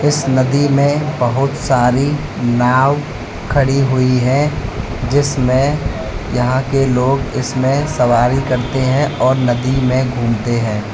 इस नदी में बहुत सारी नाव खड़ी हुई है जिसमें यहां के लोग इसमें सवारी करते हैं और नदी में घूमते हैं।